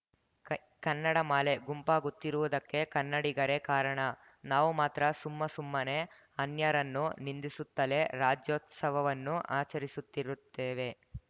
ಕನ್ನಡ ಮಾಲೆ ಗುಂಪಾಗುತ್ತಿರುವುದಕ್ಕೆ ಕನ್ನಡಿಗರೇ ಕಾರಣ ನಾವು ಮಾತ್ರ ಸುಮ್ಮಸುಮ್ಮನೆ ಅನ್ಯರನ್ನು ನಿಂದಿಸುತ್ತಲೇ ರಾಜ್ಯೋತ್ಸವವನ್ನು ಆಚರಿಸುತ್ತಿರುತ್ತೇವೆ